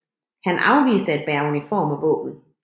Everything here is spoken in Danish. Han afviste at bære uniform og våben